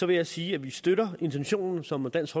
vil jeg sige at vi støtter intentionen som dansk